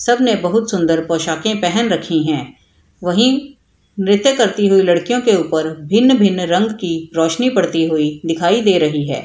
सब ने बहुत सुंदर पोशाके पहन रखी है वहीं नृत्य करती हुई लड़कियों के ऊपर भिन-भिन रंग की रोशनी पड़ती हुई दिखाई दे रही है।